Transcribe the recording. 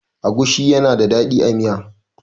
agushi yana da dadi a Miya